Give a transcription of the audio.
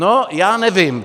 No, já nevím.